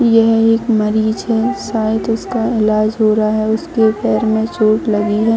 यह एक मरीज है शायद उसका ईलाज हो रहा है उसके पैर में चोट लगी है।